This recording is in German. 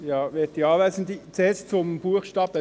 Zuerst zum Buchstaben b;